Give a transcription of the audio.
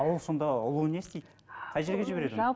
а ол сонда ұлу не істейді қай жерге жібереді оны